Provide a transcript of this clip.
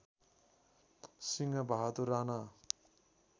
Singh Bahadur Rana